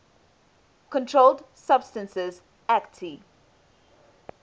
controlled substances acte